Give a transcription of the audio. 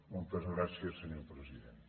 moltes gràcies senyor president